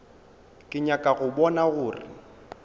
ke nyaka go bona gore